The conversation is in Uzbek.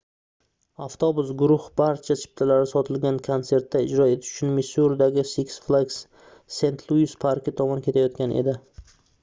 avtobus guruh barcha chiptalari sotilgan konsertda ijro etishi uchun missuridagi six flags st louis parki tomon ketayotgan edi